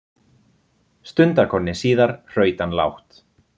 Stundarkorni síðar hraut hann lágt.